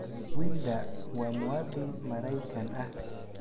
Wilder waa muwaadin Maraykan ah.